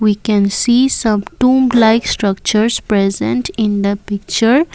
we can see some room like structures present in the picture.